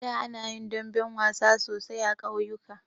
Da ana yin damben wasa sosai a ƙauyuka.